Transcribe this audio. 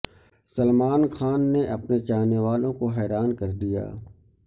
سلمان خان نے اپنے چا ہنے والو ں کو حیران کر دیا